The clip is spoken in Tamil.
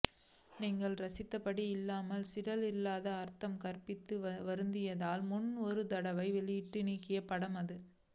நீங்கள் ரசித்தபடி இல்லாமல் சிலர் இல்லாத அர்த்தம் கற்பித்து வருந்தியதால் முன்பு ஒரு தடவை வெளியிட்டு நீக்கிய படம் அது